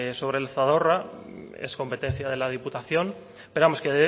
sobre el zadorra es competencia de la diputación pero vamos que